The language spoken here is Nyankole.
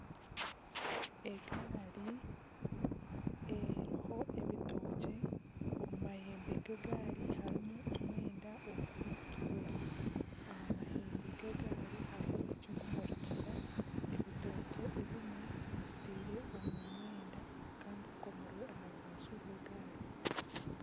Egaari eriho ebitookye omu mahembe g'egaari harimu omwenda ogurikutukura aha mahembe g'egaari hariho eky'okumurikisa ebitookye ebimwe bitaire omu mwenda kandi bikomirwe aha rubaju rw'egaari.